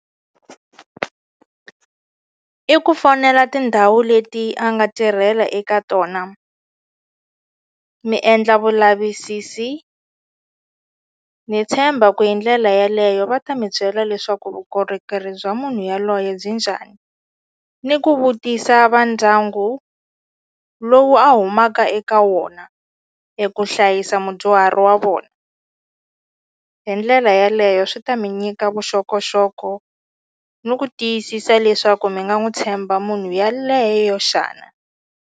I ku fonela tindhawu leti a nga tirhela eka tona mi endla vulavisisi ni tshemba ku hi ndlela yaleyo va ta mi byela leswaku vukorhokeri bya munhu yaloye byi njhani ni ku vutisa va ndyangu lowu a humaka eka wona eku hlayisa mudyuhari wa vona hi ndlela yaleyo swi ta mi nyika vuxokoxoko ni ku tiyisisa leswaku mi nga n'wi tshemba munhu yaleyo xana.